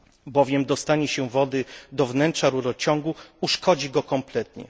Bowiem dostanie się wody do wnętrza rurociągu uszkodzi go kompletnie.